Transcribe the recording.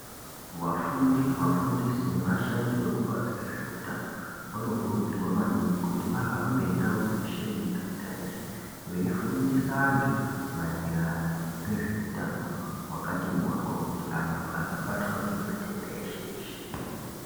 Vafundi vafundisi nevashandi vekubazi rezveutano vanokurudzirwa maningi kuti vahambe ndau dzeshe miganga yeshe. Veifundisa antu maererano ngezveutano hwakati mhoryo. Kuti vantu vasabatwa ngematenda eshe-eshe.